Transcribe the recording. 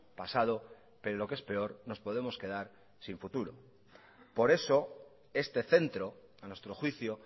pasado pero lo que es peor nos podemos quedar sin futuro por eso este centro a nuestro juicio